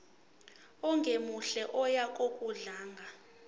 ongemuhle oya ngokudlanga